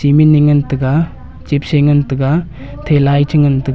emini ngan tega chipse ngan tega thelai chi ngan tega.